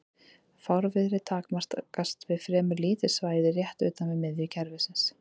Fárviðrið takmarkast við fremur lítið svæði rétt utan við miðju kerfisins.